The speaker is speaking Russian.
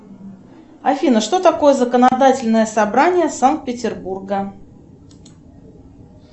афина что такое законодательное собрание санкт петербурга